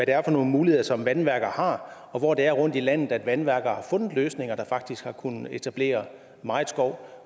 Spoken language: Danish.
er for nogle muligheder som vandværker har og hvor det er rundtom i landet at vandværker har fundet løsninger der faktisk har kunnet etablere meget skov